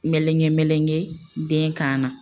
Melegen melegen den kan na.